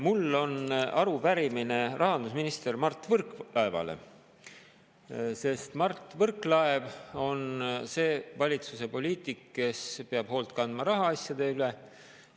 Mul on arupärimine rahandusminister Mart Võrklaevale, sest Mart Võrklaev on see valitsuse poliitik, kes peab hoolt kandma rahaasjade eest.